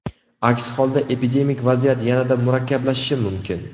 Aks holda epidemik vaziyat yanada murakkablashishi mumkin.